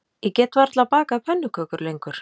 Ég get varla bakað pönnukökur lengur